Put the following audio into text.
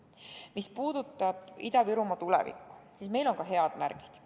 Mis puudutab Ida-Virumaa tulevikku, siis meil on ka head märgid.